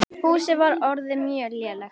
Húsið var orðið mjög lélegt.